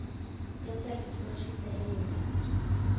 De har sørget for å skissere muligheter.